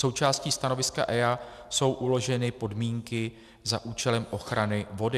Součástí stanoviska EIA jsou uloženy podmínky za účelem ochrany vody.